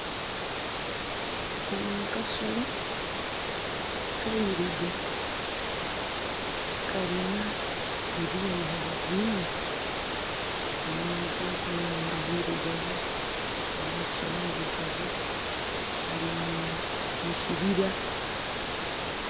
Kano akasolo, kailugavu kalina ebyoya bingi omunwa gwako n'enindho bilugavu, amaiso mailugavu, kalimukibira.